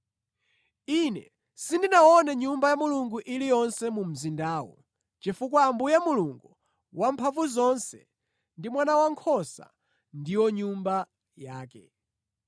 Ine sindinaone Nyumba ya Mulungu iliyonse mu mzindawo chifukwa Ambuye Mulungu Wamphamvuzonse ndi Mwana Wankhosa ndiwo Nyumba yake.